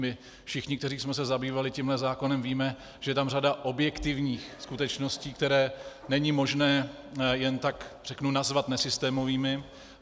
My všichni, kteří jsme se zabývali tímto zákonem, víme, že je tam řada objektivních skutečností, které není možné jen tak, řeknu, nazvat nesystémovými.